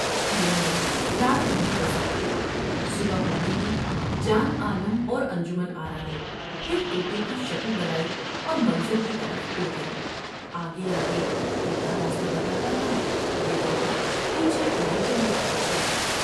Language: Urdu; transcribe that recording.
تینوں نے رات وہیں بسر کی صبح ہوتے ہی جان عالم اور انجمن آرا نے پھر توتے کی شکل بنائی اور منزل کی طرف اڑ گئے ۔آگے آگے تو تا راستہ بتا تا تھا ، یہ دونوں پیچھے اڑے چلے آتے تھے ۔